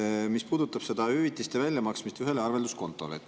puudutab hüvitiste maksmist ühele arvelduskontole.